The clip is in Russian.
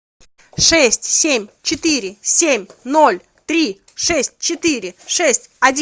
шесть семь четыре семь ноль три шесть четыре шесть один